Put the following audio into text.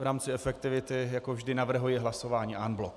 V rámci efektivity jako vždy navrhuji hlasování en bloc.